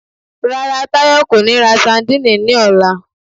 Rárá, Táyọ̀ kò ní ra sandíìnì ní ọ̀la